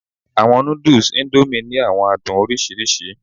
Awọn nudus Indomie ni awọn adun oriṣiriṣi